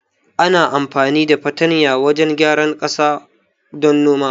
Ana amfani da fartanya wajan gyara ƙasa don noma